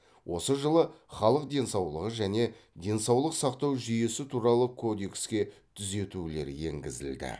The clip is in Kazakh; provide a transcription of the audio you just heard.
осы жылы халық денсаулығы және денсаулық сақтау жүйесі туралы кодекске түзетулер еңгізілді